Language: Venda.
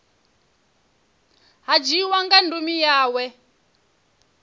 ha dzhiiwa nga ndumi yawe